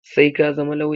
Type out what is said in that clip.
Sai ka zama lawya!